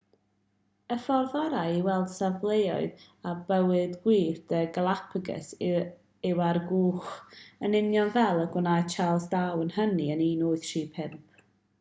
y ffordd orau i weld safleoedd a bywyd gwyllt y galapagos yw ar gwch yn union fel y gwnaeth charles darwin hynny yn 1835